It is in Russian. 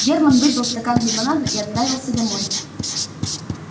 германн выпил стакан лимонаду и отправился домой